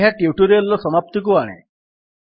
ଏହା ଟ୍ୟୁଟୋରିଆଲ୍ ର ସମାପ୍ତିକୁ ଆଣେ